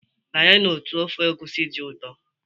Banye na ụtọ ofe Egusi dị ụtọ.